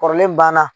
Kɔrɔlen banna